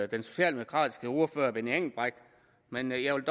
den socialdemokratiske ordfører herre benny engelbrecht men jeg vil